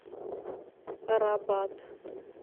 рабат